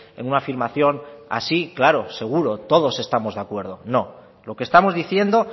en una afirmación así claro seguro todos estamos de acuerdo no lo que estamos diciendo